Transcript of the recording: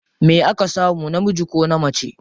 Me aka samu, namiji ko mace?